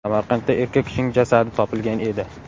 Samarqandda erkak kishining jasadi topilgan edi.